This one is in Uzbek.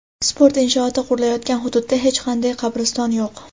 sport inshooti qurilayotgan hududda hech qanday "qabriston yo‘q".